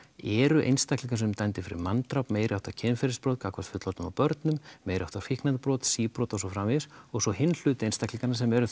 eru einstaklingar sem eru dæmdir fyrir manndráp meiriháttar kynferðisbrot gagnvart fullorðnum og börnum meiriháttar fíkniefnabrot síbrot og svo framvegis og svo hinn hluti einstaklinganna sem eru